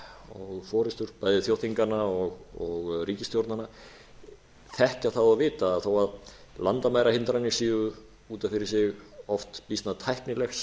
og forustur bæði þjóðþinganna og ríkisstjórnanna þekkja það og vita þó landamærahindranir séu út af fyrir sig oft býsna tæknilegs